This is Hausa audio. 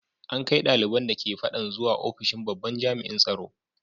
An kai daliban da ke fadan zuwa ofishin babban jami’in tsaro.